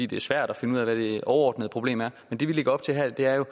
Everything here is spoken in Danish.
det er svært at finde ud af hvad det overordnede problem er men det vi lægger op til her er jo